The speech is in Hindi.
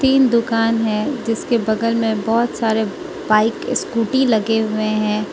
तीन दुकान हैं जिसके बगल में बहोत सारे बाइक स्कूटी लगे हुएं हैं।